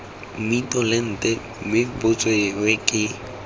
mmitolente mme bo tsewe ke